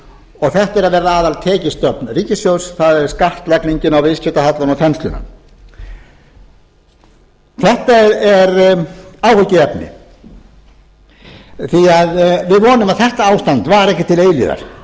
og þetta er að verða aðaltekjustofn ríkissjóðs það er skattlagningin á viðskiptahallann og þensluna þetta er áhyggjuefni því við vonum að þetta ástand vari ekki til